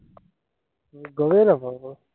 গমেই নাপাওঁ মই।